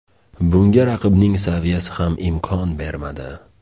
Bunga raqibning saviyasi ham imkon bermadi.